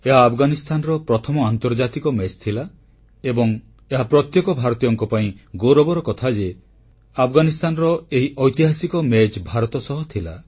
ଏହା ଆଫଗାନିସ୍ଥାନର ପ୍ରଥମ ଆନ୍ତର୍ଜାତିକ ମ୍ୟାଚ ଥିଲା ଏବଂ ଏହା ପ୍ରତ୍ୟେକ ଭାରତୀୟଙ୍କ ପାଇଁ ଗୌରବର କଥା ଯେ ଆଫଗାନିସ୍ଥାନର ଏହି ଐତିହାସିକ ମ୍ୟାଚ ଭାରତ ସହ ଥିଲା